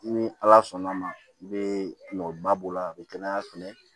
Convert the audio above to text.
Ni ala sɔnna ma i bɛ ba b'o la a bɛ kɛnɛya fɛnɛ